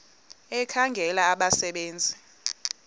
ekhangela abasebe nzi